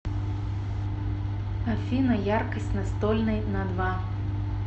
афина яркость настольной на два